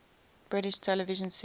british television series